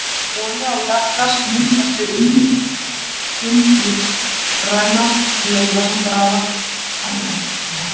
Olía og jarðgas myndast við ummyndun lífrænna leifa sem grafist hafa í seti.